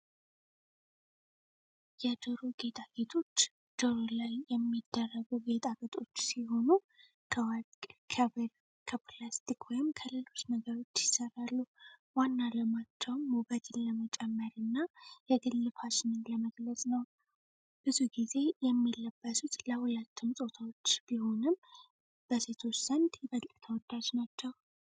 የጆሮ ጌጦች ጆሮ ላይ የሚደረጉ ጌጣጌጦች ሲሆኑ፣ ከወርቅ፣ ከብር፣ ከፕላስቲክ ወይም ከሌሎች ነገሮች ይሠራሉ። ዋና ዓላማቸውም ውበትን ለመጨመርና የግል ፋሽንን ለመግለጽ ነው። ብዙ ጊዜ የሚለበሱት ለሁለቱም ፆታዎች ቢሆንም፣ በሴቶች ዘንድ ይበልጥ ተወዳጅ ናቸው።